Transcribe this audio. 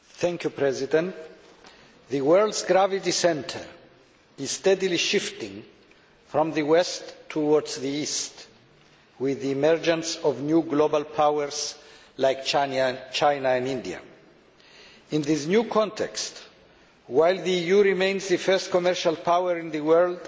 Mr President, the world's centre of gravity is steadily shifting from the West towards the East, with the emergence of new global powers like China and India. In this new context, while the EU remains the first commercial power in the world